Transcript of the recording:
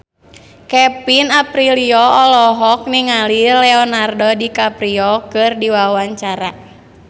Kevin Aprilio olohok ningali Leonardo DiCaprio keur diwawancara